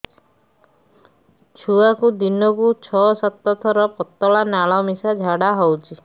ଛୁଆକୁ ଦିନକୁ ଛଅ ସାତ ଥର ପତଳା ନାଳ ମିଶା ଝାଡ଼ା ହଉଚି